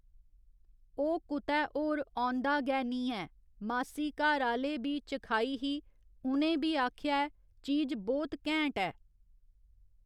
ओह् कुतै होर औंदा गै नीं ऐ मासी घरआह्‌ले बी चखाई ही उ'नें बी आखेआ ऐ चीज बहुत घैंट ऐ